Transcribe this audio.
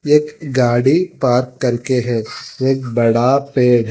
एक गाड़ी पार्क करके है एक बड़ा पेड़--